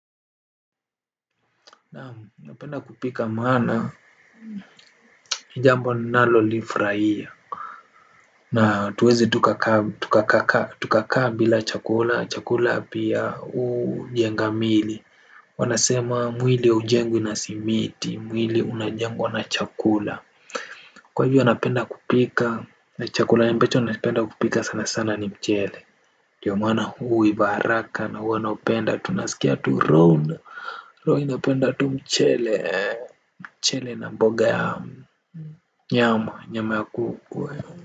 Naam, napenda kupika maana ni jambo linalolifurahia na hatuwezi tukakaa bila chakula chakula pia hujenga miili. Wanasema mwili haujengwi na simiti, mwili unajengwa na chakula. Kwa hivyo napenda kupika na chakula ambacho napenda kupika sana sana ni mchele. Ndiyo maana huu huiva haraka na huwana naupenda tunasikia tu Ron Roho inapenda tu mchele mchele na mboge ya nyama, nyama ya kuku.